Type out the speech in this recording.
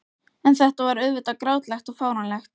En þetta var auðvitað grátlegt og fáránlegt.